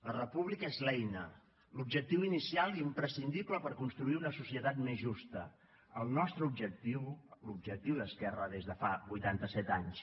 la república és l’eina l’objectiu inicial i imprescindible per construir una societat més justa el nostre objectiu l’objectiu d’esquerra des de fa vuitanta set anys